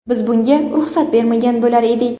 Biz bunga ruxsat bermagan bo‘lar edik.